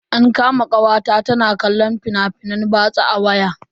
An kama kawata ta na kallon fina-finan batsa a waya.